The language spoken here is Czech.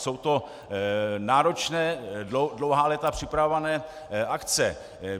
Jsou to náročné, dlouhá léta připravované akce.